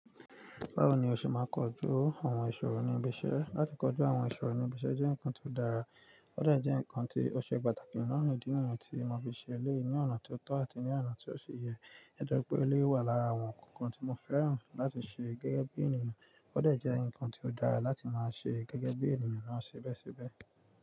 Bawo ni o se maa n koju awon isoro ni ibi ise. Láti kojú àwọn ìṣòro ní ibi iṣẹ́ jẹ́ nǹkan tó dára, ó dà jẹ́ nǹkan tí ó ṣe pàtàkì nínú ìdí nǹkan tí mo fi ṣẹlẹ ní ọ̀nà tó tọ́ àti ní ọ̀nà tí ó ṣe yẹ. Ẹ jẹ́ pé ó lè wà lára àwọn nǹkan tí mo fẹ́ràn láti ṣe gẹ́gẹ́ bí ènìyàn, ó dà jẹ́ nǹkan tí ó dára láti máa ṣe gẹ́gẹ́ bí ènìyàn náà ṣe bẹ́ṣẹ́ bẹ́ẹ̀.